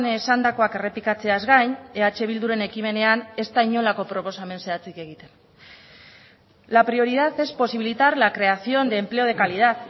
esandakoak errepikatzeaz gain eh bilduren ekimenean ez da inolako proposamen zehatzik egiten la prioridad es posibilitar la creación de empleo de calidad